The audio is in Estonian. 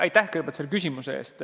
Aitäh küsimuse eest!